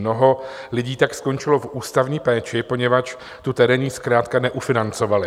Mnoho lidí tak skončilo v ústavní péči, poněvadž tu terénní zkrátka neufinancovali.